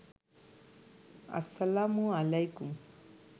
আসসালামু আলাইকুম